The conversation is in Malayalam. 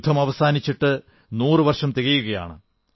യുദ്ധം അവസാനിച്ചിട്ട് നൂറു വർഷം തികയുകയാണ്